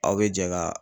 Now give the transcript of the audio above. Aw bɛ jɛ ka